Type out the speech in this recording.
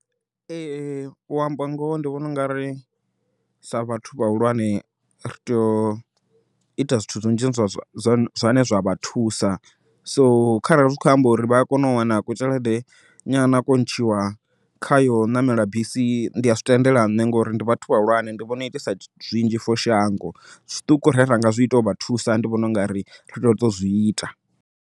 Ee u amba ngoho ndi vhona u nga ri sa vhathu vhahulwane ri tea u ita zwithu zwinzhi zwine zwa vha thusa, so kharali zwi kho amba uri vha kona u wana kutzhelede nyana kune khayo ṋamela bisi ndi a zwi tendela nṋe ngori ndi vhathu vhahulwane ende vhona itesa zwithu zwinzhi for shango, zwiṱuku zwine ranga zwi ita ndi u vha thusa ndi vhona ungari ri tea u zwi ita.